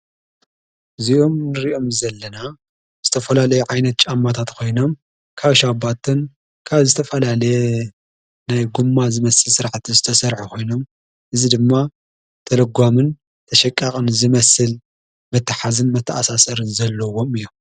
እዚኦም ርእዮም ዘለና ዝተፈላለየ ዓይነት ጨማታት ኾይኖም ካሻኣባትን ካብ ዝተፈላለየ ናይ ጕማ ዝመስል ሥርዓቲ ዝተሠርዐ ኾይኖም እዝ ድማ ተለጓምን ተሸቃቕን ዝመስል መታሓዝን መተኣሣሰርን ዘለዎም እዮም።